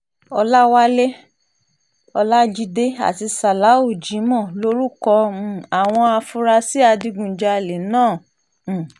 ọ̀làwálẹ̀ ọlajide àti salawu jimoh lorúkọ um àwọn afurasí adigunjalè náà um